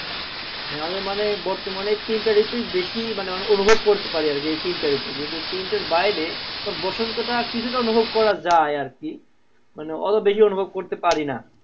হ্যা আমাদের মানে বর্তমানে এই তিনটা ঋতুই বেশি মানে অনুভব করতে পারি আর কি এই তিনটা ঋতু তিনটার বাইরে বসন্ত টা কিছুটা অনুভব করা যায় আর কি ওতো বেশি অনুভব করতে পারি না